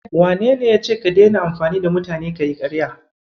Wanene yace ka daina amfani da mutane kayi ƙarya?